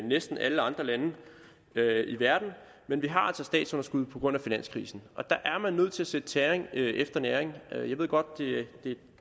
næsten alle andre lande i verden men vi har altså et statsunderskud på grund af finanskrisen og der er man nødt til at sætte tæring efter næring jeg ved godt at